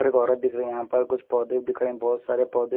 और एक औरत दिख रही हैं यहाँ पर कुछ पौधे दिख रहे हैं। बहुत सारे पौधे --